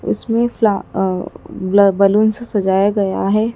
इसमें फ्लॉ अ ब्ला बैलून से सजाया गया है।